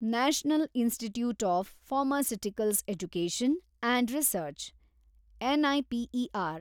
national institute of pharmaceutical education and research, NIPER